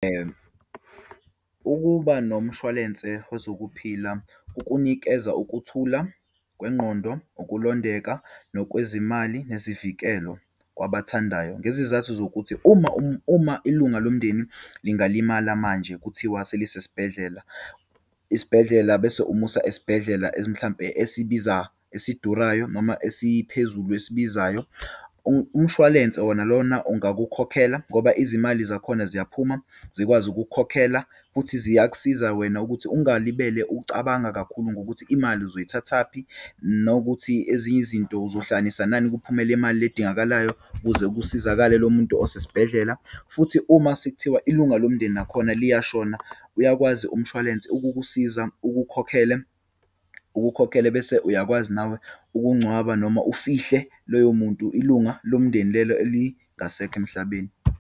Ukuba nomshwalense wezokuphila kukunikeza ukuthula kwengqondo, ukulondeka nokwezimali, nezivikelo kwabathandayo. Ngezizathu zokuthi uma uma ilunga lomndeni lingalimala manje, kuthiwa selisesibhedlela, isibhedlela bese umusa esibhedlela, mhlampe esibiza, esidurayo, noma esiphezulu esiyibizayo. Umshwalense wona lona angakukhokhela, ngoba izimali zakhona ziyaphuma, zikwazi ukukhokhela futhi ziyakusiza wena ukuthi ungalibeli ucabanga kakhulu ngokuthi, imali uzoyithathaphi, nokuthi ezinye izinto uzohlanganisa nani, kuphume le imali le edingakalayo ukuze kusizakale lo muntu osesibhedlela. Futhi uma sekuthiwa ilunga lomndeni nakhona liyashona, uyakwazi umshwalense ukukusiza, ukukhokhele, ukukhokhele bese uyakwazi nawe ukungcwaba, noma ufihle loyo muntu, ilunga lomndeni lelo elingasekho emhlabeni.